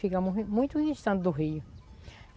Fica muito muito distante do rio.